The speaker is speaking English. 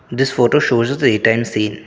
this photo shows a day time scene.